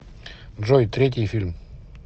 джой третий фильм